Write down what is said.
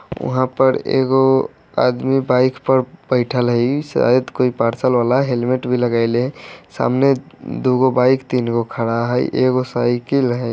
वहाँ पर एगो आदमी बाइक पर बैठल है शायद कोई पार्सल वाला हेलमेट भी लगायले है सामने एगो बाइक दुगो खड़ा हेय एगो साइकिल है।